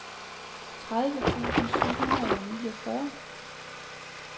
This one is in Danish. tredive tusind syv hundrede og niogfyrre